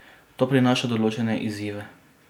To prinaša določene izzive.